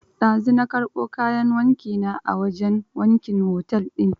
Dazu na karɓo kayan wanki na a wajen wankin otel din